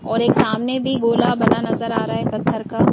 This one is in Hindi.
और एक सामने भी गोला बना नजर आ रा है पत्थर का --